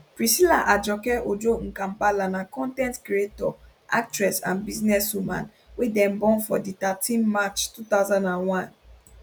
priscilla ajoke ojo mkambala na con ten t creator actress and business woman wey dem born for di thirteen march 2001